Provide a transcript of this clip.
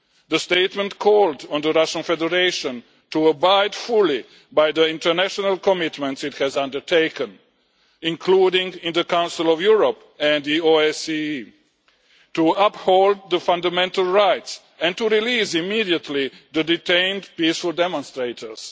The statement called on the Russian Federation to abide fully by the international commitments it has undertaken, including in the Council of Europe and the OSCE, to uphold the fundamental rights and to release immediately the detained peaceful demonstrators.